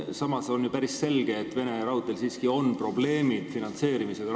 Samas on ju päris selge, et Venemaa Raudteedel siiski on rahvusvaheliselt probleeme finantseerimisega.